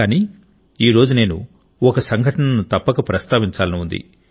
కానీ ఈ రోజు నేను ఒక సంఘటనను తప్పక ప్రస్తావించాలని ఉంది